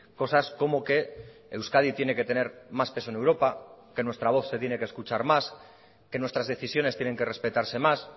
cosas como que euskadi tiene que tener más peso en europa que nuestra voz se tiene que escuchar más que nuestras decisiones tienen que respetarse más